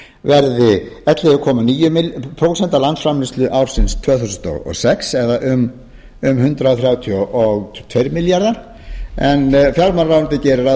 verði ellefu komma níu prósent af landsframleiðslu ársins tvö þúsund og sex eða um hundrað þrjátíu og tveir milljarðar en fjármálaráðuneytið gerir ráð